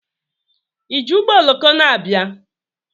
Iji ụgbọoloko na-abịa?